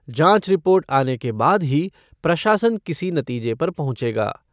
जाँच रिपोर्ट आने के बाद ही प्रशासन किसी नतीजे पर पहुंचेगा।